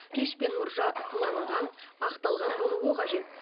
пеш пен мұржа сыланған ақталған болуы қажет